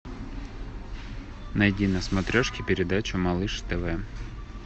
найди на смотрешке передачу малыш тв